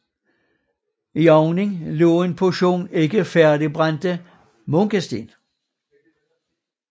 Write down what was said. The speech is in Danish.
I ovnen lå en portion ikke færdigbrændte munkesten